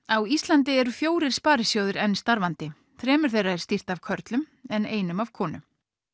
á Íslandi eru fjórir sparisjóðir enn starfandi þremur þeirra er stýrt af körlum en einum af konu